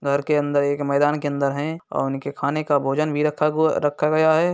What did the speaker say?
घर के अंदर एक मैदान के अंदर हैं और उनके खाने का भोजन भी रखा हु रखा गया है।